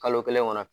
Kalo kelen kɔnɔ